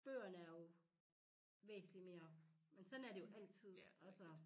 Bøgerne er jo væsentlig mere men sådan er det jo altid altså